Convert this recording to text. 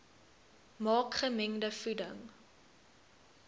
maak gemengde voeding